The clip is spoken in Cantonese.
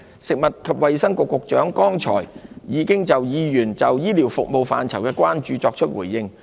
食物及衞生局局長剛才已就議員對醫療服務範疇的關注作出回應。